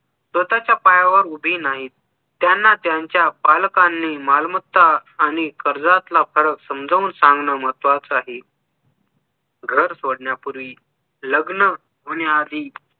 स्वतःच्या पायावर उभी नाहीत त्यांना त्यांच्या पालकांनी मालमत्ता आणि कर्जतला फरक समजून सांगणं महत्वाचं आहे घर सोडण्यापूर्वी लग्न होण्याआधी